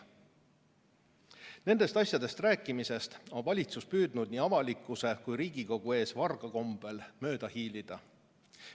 Nendest asjadest rääkimisest on valitsus püüdnud nii avalikkuse kui ka Riigikogu ees varga kombel mööda hiilida.